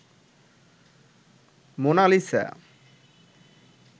Mona Lisa